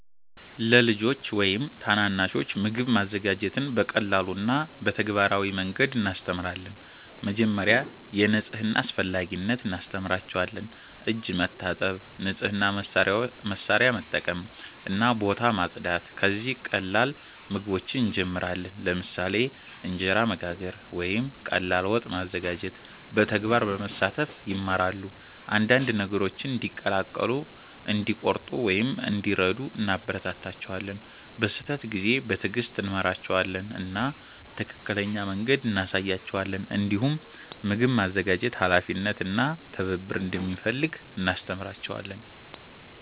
ለልጆች ወይም ታናናሾች ምግብ ማዘጋጀትን በቀላል እና በተግባራዊ መንገድ እናስተምራለን። መጀመሪያ የንጽህና አስፈላጊነት እናስተምራቸዋለን፤ እጅ መታጠብ፣ ንጹህ መሳሪያ መጠቀም እና ቦታ ማጽዳት። ከዚያ ቀላል ምግቦችን እንጀምራለን፣ ለምሳሌ እንጀራ መጋገር ወይም ቀላል ወጥ ማዘጋጀት። በተግባር በመሳተፍ ይማራሉ፤ አንዳንድ ነገሮችን እንዲቀላቀሉ፣ እንዲቆርጡ ወይም እንዲረዱ እናበረታታቸዋለን። በስህተት ጊዜ በትዕግስት እንመራቸዋለን እና ትክክለኛ መንገድ እንሳያቸዋለን። እንዲሁም ምግብ ማዘጋጀት ኃላፊነት እና ትብብር እንደሚፈልግ እናስተምራቸዋለን።